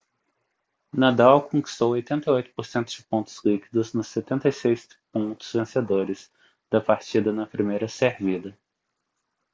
nadal conquistou 88% de pontos líquidos nos 76 pontos vencedores da partida na primeira servida